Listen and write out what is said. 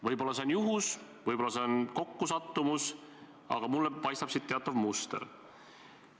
Võib-olla see on juhus, võib-olla see on kokkusattumus, aga mulle paistab siit teatav muster.